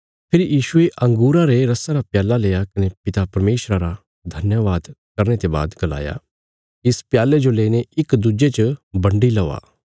फेरी यीशुये अंगूरां रे रसा रा प्याल्ला लेआ कने पिता परमेशरा रा धन्यवाद करने ते बाद गलाया इस प्याल्ले जो लेईने इक दुज्जे च बन्डी लौआ